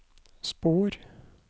spor